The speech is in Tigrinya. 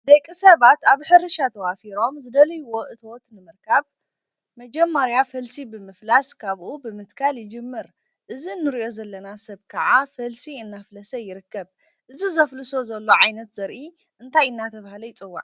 ደቂ ሰባት አብ ሕርሻ ተዋፊሮም ዝደልይዎ እቶት ንምርካብ መጀመርያ ፈልሲ ብምፍላስ ካብኡ ብምትካል ይጅምር። እዚ እንሪኦ ዘለና ሰብ ከዓ ፈልሲ እናፍለሰ ይርከብ። እዚ ዘፍልሶ ዘሎ ዓይነት ዘርኢ እንታይ እናተበሃለ ይፅዋዕ?